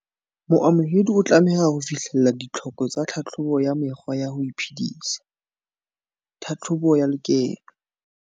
Moamohedi o tlameha ho fihlella ditlhoko tsa tlhahlobo ya mekgwa ya ho iphedisa tlhahlobo ya lekeno.